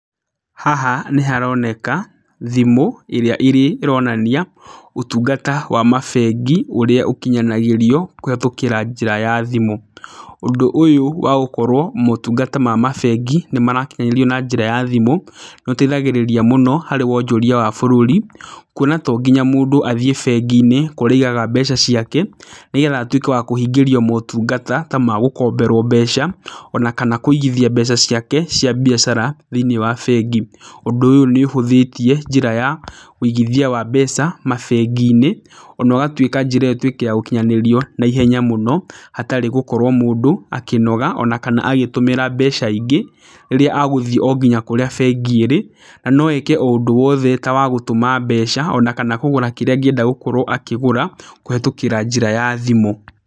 Haha nĩ haroneka, thimũ, ĩrĩa ĩronania ũtungata wa mabengi, ũrĩa ũkinyanagĩrio kũhetũkĩra njĩra ya thimũ. Ũndũ ũyũ wa gũkorwo motungata maya ma bengi nĩ marakinyanĩrio na njĩra ya thimũ, nĩ ũteithagĩrĩria mũno harĩ wonjoria wa bũrũri. Kuona to nginya mũndũ athiĩ bengi-inĩ kũrĩa aigaga mbeca ciake, nĩgetha atuĩke wa kũhingĩrio motungata ta ma gũkomberwo mbeca, ona kana kũigithia mbeca ciake cia biacara thĩiniĩ wa bengi. Ũndũ ũyũ nĩ ũhũthĩtie njĩra ya wĩigithia wa mbeca mabengi-inĩ, ona ũgatuĩka njĩra ĩyo ĩtuĩke ya gũkinyanĩrio naihenya mũno, hatarĩ gũkorwo mũndũ akĩnoga, ona kana agĩtũmĩra mbeca ingĩ, rĩrĩa agũthi o nginya kũrĩa bengi ĩrĩ. Na no eke o ũndũ wothe ta wa gũtũma mbeca, ona kana kũgũra kĩrĩa angĩenda gũkorwo akĩgũra kũhetũkĩra njĩra ya thimũ.